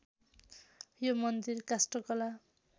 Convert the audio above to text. यो मन्दिर काष्ठकला